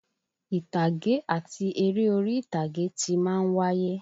Ìtàgé àti eré orí ìtàgé ti má ń wáyé